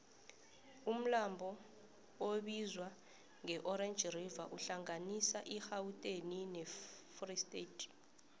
umlambo obizwangeorange river uhlanganisa irhawuteni nefree state